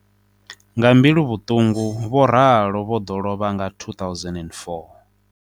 Nga mbiluvhuṱungu Vho Ralo vho ḓo lovha nga 2004.